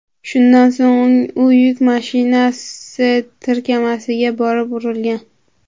Shundan so‘ng u yuk mashinasi tirkamasiga borib urilgan.